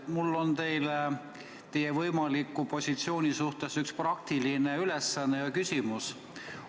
Mul on teile teie võimaliku positsiooni kohta üks praktiline ülesanne ja küsimus.